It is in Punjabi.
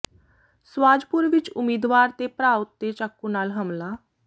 ਸਵਾਜਪੁਰ ਵਿੱਚ ਉਮੀਦਵਾਰ ਤੇ ਭਰਾ ਉਤੇ ਚਾਕੂ ਨਾਲ ਹਮਲਾ